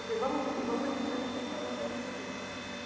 Eu falei, vamos subir, vamos lá em cima que aconteceu alguma coisa com a minha mãe.